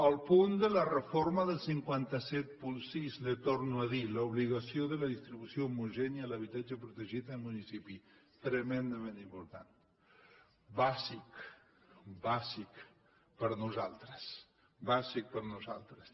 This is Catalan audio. el punt de la reforma del cinc cents i setanta sis li ho torno a dir l’obligació de la distribució homogènia de l’habitatge protegit en municipis tremendament important bàsic bàsic per nosaltres bàsic per nosaltres